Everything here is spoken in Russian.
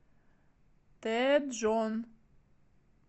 тэджон